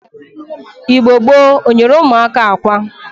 Igbo gboo o nyere umuaka akwa?